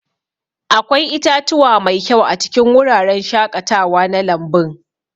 Akwai itatuwa mai kyau a cikin wuraren shaƙatawa na lambun.